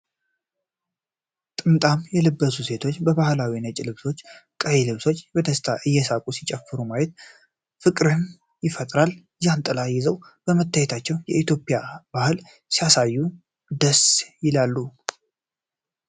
ጥምጣም የለበሱ ሴቶች በባህላዊ ነጭ ልብሶችና ቀይ ልብሶች በደስታ እየሳቁ ሲጨፍሩ ማየት ፍቅርን ይፈጥራል። ጃንጥላ ይዘው መታየታቸው የኢትዮጵያን ባህል ሲያሳይ ደስ ይላሉ።